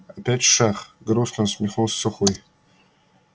опять шах грустно усмехнулся сухой